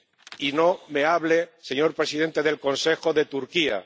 Y no me hable, señor presidente del Consejo, de Turquía.